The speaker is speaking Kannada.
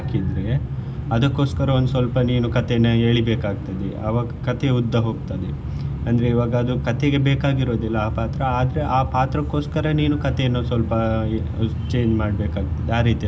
ಹಾಕಿದ್ರೆ ಅದಕ್ಕೋಸ್ಕರ ಒಂದ್ ಸ್ವಲ್ಪ ನೀನು ಕಥೆಯನ್ನು ಎಳೀಬೇಕು ಆಗ್ತದೆ ಆವಾಗ ಕಥೆ ಉದ್ದ ಹೋಗ್ತದೆ ಅಂದ್ರೆ ಈವಾಗ ಅದು ಕಥೆಗೆ ಬೇಕಾಗಿರುದಿಲ್ಲ ಆ ಪಾತ್ರ ಆದ್ರೆ ಆ ಪಾತ್ರಕ್ಕೋಸ್ಕರ ನೀನು ಕಥೆಯನ್ನು ಸ್ವಲ್ಪ change ಮಾಡ್ಬೇಕು ಆಗ್ತದೆ ಆ ರೀತೀಯೆಲ್ಲಾ.